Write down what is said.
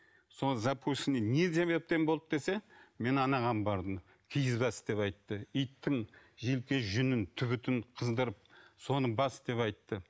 сол запущенный не себептен болды десе мен анаған бардым киіз бас деп айтты иттің желке жүнін түбітін қыздырып соны бас деп айтты